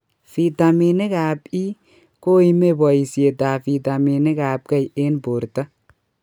Vitaminik ab E koimee boisiet ab vitaminik ab k eng' borto